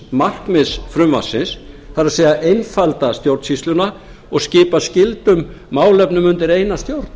markmiðs frumvarpsins það er að einfalda stjórnsýsluna og skipa skyldum málefnum undir eina stjórn